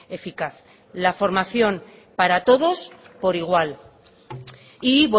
eficaz la formación para todos por igual y